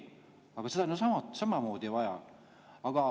Aga seda on ju samamoodi vaja.